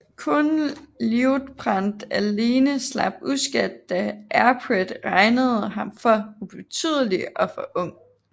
Kun Liutprand alene slap uskadt da Aripert regnede ham for ubetydelig og for ung